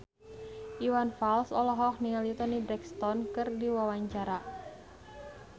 Iwan Fals olohok ningali Toni Brexton keur diwawancara